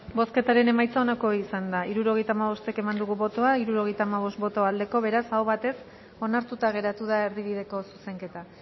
bozketaren emaitza onako izan da hirurogeita hamabost eman dugu bozka hirurogeita hamabost boto aldekoa beraz aho batez onartuta geratu da erdibideko zuzenketa